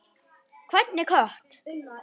Hvernig kött?